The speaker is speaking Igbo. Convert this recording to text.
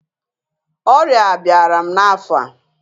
Ọrịa abịara m n'afọ a